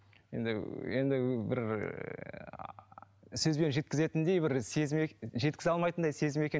енді енді бір сөзбен жеткізетіндей бір сезім жеткізе алмайтындай сезім екен